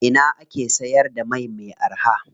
A ina ake siyar da mai me araha?